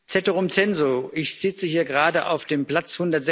Ceterum censeo Ich sitze hier gerade auf dem Platz